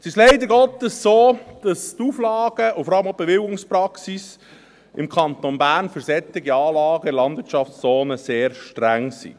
Es ist leider Gottes so, dass die Auflagen und vor allem auch die Bewilligungspraxis im Kanton Bern für solche Anlagen in der Landwirtschaftszone sehr streng sind.